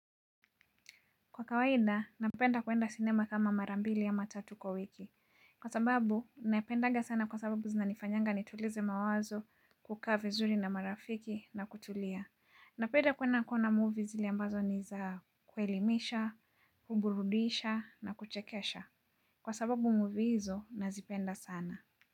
Kwa kawaida, napenda kwenda sinema kama mara mbili ama tatu kwa wiki. Kwa sababu, napendaga sana kwa sababu zinanifanyanga nitulize mawazo kukaa vizuri na marafiki na kutulia. Napenda kwenda kuona movie zile ambazo niza kuelimisha, kuburudisha na kuchekesha. Kwa sababu movie hizo, nazipenda sana.